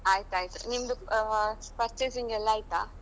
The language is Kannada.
ಆಯ್ತಾಯ್ತು. ನಿಮ್ದು ಅಹ್ purchasing ಎಲ್ಲ ಆಯ್ತಾ?